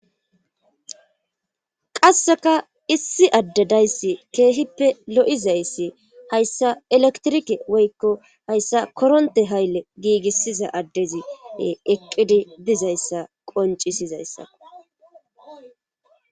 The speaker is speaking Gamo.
qasseka issi adde dayssi keehippe lo7izayssi hayssa elektrike woykko hayssa koronte hayle giigissiza addezi eqqidi dizayssa qoncisizayssa